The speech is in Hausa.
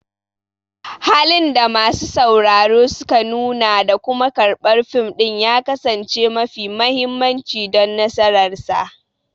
Halin da masu sauraro suka nuna da kuma karɓar fim ɗin ya kasance mafi mahimmanci don nasararsa.